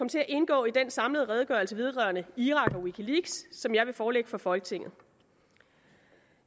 til at indgå i den samlede redegørelse vedrørende irak og wikileaks som jeg vil forelægge for folketinget